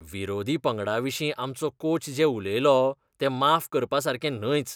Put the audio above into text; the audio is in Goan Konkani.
विरोधी पंगडाविशीं आमचो कोच जें उलयलो तें माफ करपासारकें न्हयच.